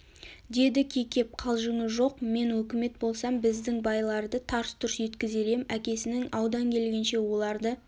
деді кекеп қалжыңы жоқ мен өкімет болсам біздің байларды тарс-тұрс еткізер ем әкесінің аудан келгенше оларды